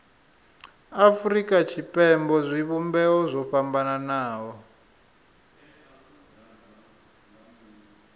afurika tshipembe zwivhumbeo zwo fhambanaho